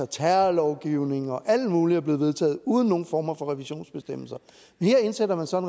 terrorlovgivning og alt muligt er blevet vedtaget uden nogen former for revisionsbestemmelser men her indsætter man så en